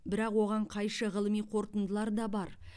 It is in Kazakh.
бірақ оған қайшы ғылыми қорытындылар да бар